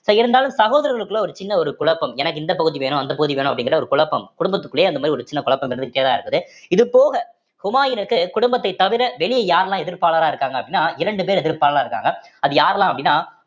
so இருந்தாலும் சகோதரர்களுக்குள்ள ஒரு சின்ன ஒரு குழப்பம் எனக்கு இந்த பகுதி வேணும் அந்த பகுதி வேணும் அப்படிங்கிற ஒரு குழப்பம் குடும்பத்துக்குள்ளயே அந்த மாரி ஒரு சின்ன குழப்பம் இருந்துட்டேதான் இருக்குது இது போக ஹுமாயூனுக்கு குடும்பத்தை தவிர வெளிய யாரெல்லாம் எதிர்ப்பாளரா இருக்காங்க அப்படின்னா இரண்டு பேர் எதிர்ப்பாளரா இருக்காங்க அது யாரெல்லாம் அப்படின்னா